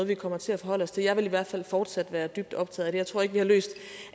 vi kommer til at forholde os til jeg vil i hvert fald fortsat være dybt optaget jeg tror ikke vi har løst